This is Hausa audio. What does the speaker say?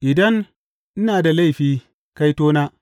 Idan ina da laifi, kaitona!